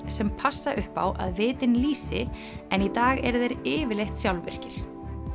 sem passa upp á að vitinn lýsi en í dag eru þeir yfirleitt sjálfvirkir